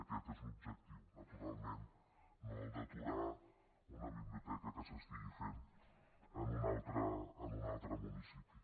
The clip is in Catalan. aquest és l’objectiu naturalment no el d’aturar una biblioteca que s’estigui fent en un altre municipi